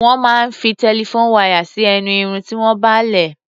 Wón máa ń fi telephone wire sí ẹnu Irun tí wọ́n bá lẹ̀.